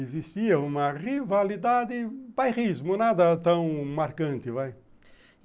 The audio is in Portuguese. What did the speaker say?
Existia uma rivalidade, um pairrismo, nada tão marcante, vai.